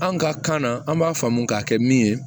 An ka kan na an b'a faamu k'a kɛ min ye